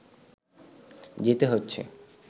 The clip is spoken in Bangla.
যেতে হচ্ছে